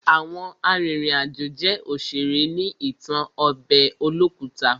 Àwọn arìnrìn àjò jẹ́ òṣèré ní ìtàn ọbẹ̀ olókùta.